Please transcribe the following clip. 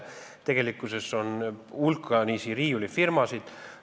Tegelikkuses on meil hulgaliselt riiulifirmasid.